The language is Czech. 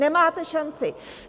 Nemáte šanci.